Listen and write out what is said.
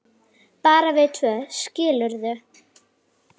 bara við tvö, skilurðu.